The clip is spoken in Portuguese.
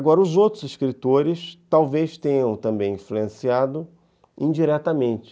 Agora, os outros escritores talvez tenham também influenciado indiretamente.